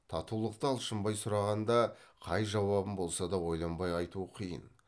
татулықты алшынбай сұрағанда қай жауабын болса да ойланбай айту қиын